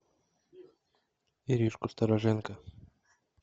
иришку стороженко